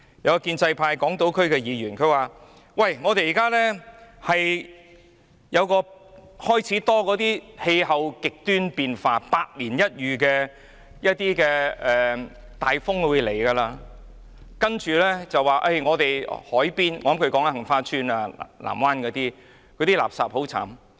有一位香港島選區的建制派議員說，現在開始多了氣候極端變化在香港出現，包括百年一遇的風暴，令海邊——我想他是說杏花邨和藍灣半島——被垃圾充斥。